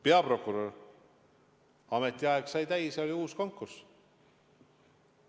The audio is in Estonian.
Peaprokurör – tema ametiaeg sai täis ja oli uus konkurss.